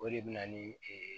O de bɛ na ni